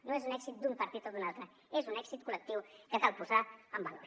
no és l’èxit d’un partit o d’un altre és un èxit col·lectiu que cal posar en valor